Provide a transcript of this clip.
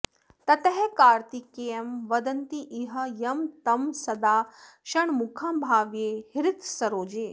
ततः कार्तिकेयं वदन्तीह यं तं सदा षण्मुखं भावये हृत्सरोजे